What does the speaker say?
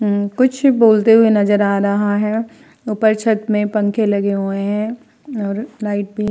उम्म कुछ बोलते हुए नजर आ रहा है। ऊपर छत में पंखें लगे हुए हैं और लाइट भी --